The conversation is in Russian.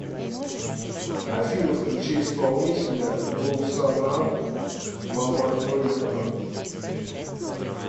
афина включи исполнителя гулсанам мамазоитова